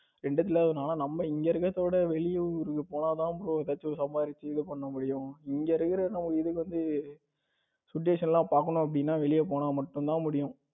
இரண்டத்திலே இல்லாம நம்ம இங்க இருக்கிறதை விட வெளியூருக்கு போனா தான் bro டக்குனு சம்பாதிச்சு இது பண்ண முடியும் இங்க இருக்கிறது வந்து நம்ம situation எல்லாம் பாக்கணும் அப்படின்னு நம்ம வெளிய போனா மட்டும் தான் முடியும்.